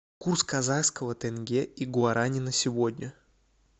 курс казахского тенге и гуарани на сегодня